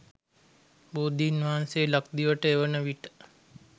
බෝධීන්වහන්සේ ලක්දිවට එවන විට